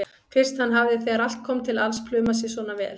Fyrst hann hafði þegar allt kom til alls plumað sig svona vel.